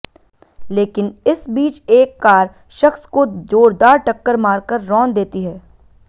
लेकिन इस बीच एक कार शख्स को जोरदार टक्कर मारकर रौंद देती है